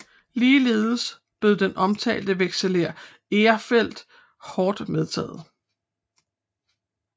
Ligeledes blev den omtalte vekselerer Erfeldt hårdt medtaget